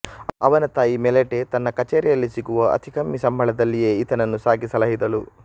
ಅವನ ತಾಯಿ ಮೆಲೆಟೆ ತನ್ನ ಕಛೇರಿಯಲ್ಲಿ ಸಿಗುವ ಅತಿ ಕಮ್ಮಿ ಸಂಬಳದಲ್ಲಿಯೇ ಈತನನ್ನು ಸಾಕಿ ಸಲಹಿದಳು